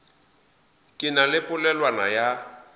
ke na le polelwana ya